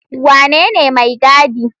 Wanene mai gaɗi?